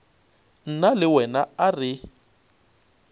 nna le wena a re